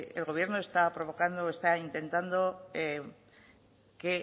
el gobierno está provocando o está intentando que